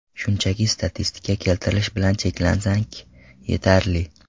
Shunchaki statistika keltirish bilan cheklansak, yetarli.